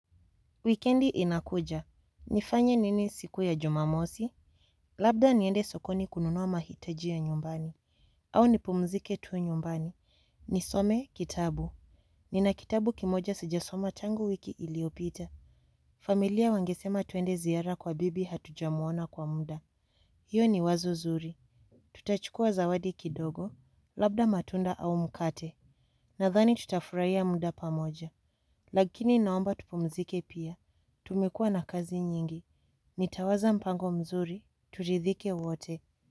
Wikendi inakuja. Nifanye nini siku ya jumamosi? Labda niende sokoni kununua mahitaji ya nyumbani. Au nipumzike tu nyumbani. Nisome kitabu. Nina kitabu kimoja sijasoma tangu wiki iliyopita. Familia wangesema twende ziara kwa bibi hatujamuona kwa muda. Hiyo ni wazo zuri. Tutachukua zawadi kidogo. Labda matunda au mkate. Nadhani tutafurahia muda pamoja. Lakini naomba tupumzike pia. Tumekua na kazi nyingi. Nitawaza mpango mzuri, turidhike wote.